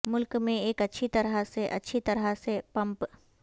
ملک میں ایک اچھی طرح سے اچھی طرح سے پمپ